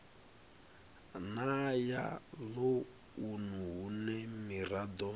na ya ḽounu hune miraḓo